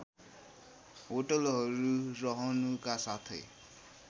होटलहरू रहनुका साथै